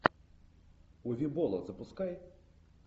уве болла запускай